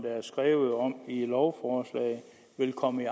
er skrevet om i lovforslaget vil komme i